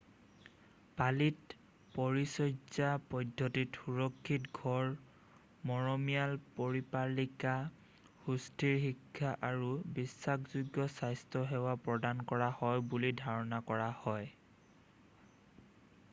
পালিত পৰিচৰ্যা পদ্ধতিত সুৰক্ষিত ঘৰ মৰমিয়াল পৰিচাৰিকা সুস্থিৰ শিক্ষা আৰু বিশ্বাসযোগ্য স্বাস্থ্য সেৱা প্ৰদান কৰা হয় বুলি ধাৰণা কৰা হয়